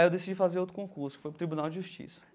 Aí eu decidi fazer outro concurso, que foi para o Tribunal de Justiça.